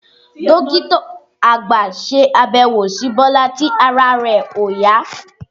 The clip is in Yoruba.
Dókítà àgbà ṣe àbẹ̀wò si Bọ́lá tí ara rẹ̀ òyá